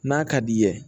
N'a ka d'i ye